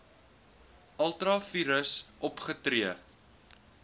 ultra vires opgetree